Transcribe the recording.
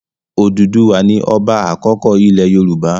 Òdùduwà ni ọba àkọ́kọ́ ilẹ̀ Yorùbá.